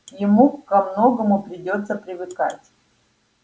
ему ко многому придётся привыкать